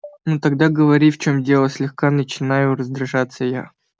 ну тогда говори в чём дело слегка начинаю раздражаться я